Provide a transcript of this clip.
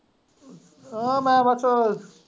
ਮੈਂ ਬਸ।